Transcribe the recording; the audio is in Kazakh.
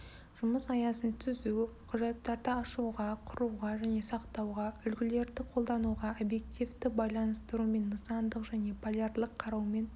жұмыс аясын түзу құжаттарды ашуға құруға және сақтауға үлгілерді қолдануға объективті байланыстырумен нысандық және полярлық қараумен